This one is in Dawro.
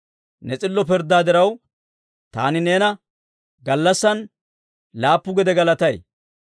Ne s'illo pirddaa diraw, taani neena gallassan laappu gede galatay.